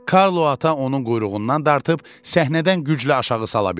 Karlo ata onun quyruğundan dartıb səhnədən güclə aşağı sala bildi.